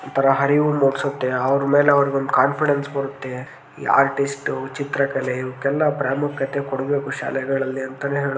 ಒಂದು ಥರ ಅರಿವು ಮೂಡಿಸುತ್ತೆ ಅವರ ಮೇಲೆ ಅವರಿಗೊಂದು ಕಾನ್ಫಿಡೆನ್ಸ್ ಬರುತ್ತೆ ಈ ಆರ್ಟಿಸ್ಟ್ ಚಿತ್ರ ಕಲೆ ಇವಕ್ಕೆಲ್ಲ ಪ್ರಾಮುಖ್ಯತೆ ಕೊಡಬೇಕು ಶಾಲೆಗಳಲ್ಲಿ ಅಂತಾನೆ ಹೇಳಬಹುದು.